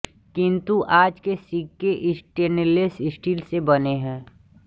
किंतु आज के सिक्के स्टेनलेस स्टील से बने है